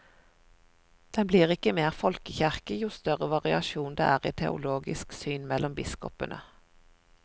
Den blir ikke mer folkekirke jo større variasjon det er i teologisk syn mellom biskopene.